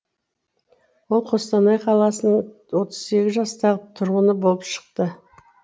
ол қостанай қаласының отыз сегіз жастағы тұрғыны болып шықты